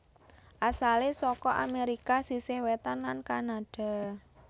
Asalé saka Amérika sisih wétan lan Kanada